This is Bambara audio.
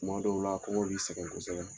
Kuma dɔw la kɔngɔ b'i sɛgɛn kosɛbɛ.